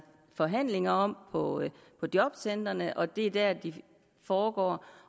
forhandlinger om på jobcentrene og det er dér de foregår